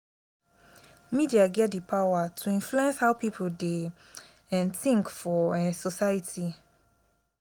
media get di power to influence how pipo dey um tink for um society.